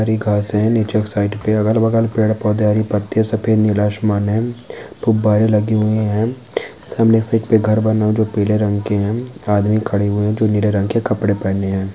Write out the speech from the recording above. हरी घास है नीचे की साइड पे अगल बगल पेड़ पौधे हरी पत्तिया सफ़ेद नीला आसमान है गुब्बारे लगे हुए है सामने से एक घर बना हुआ जो पीले रंग के है आदमी खड़े हुए है जो नीले रंग के कपड़े पहने है।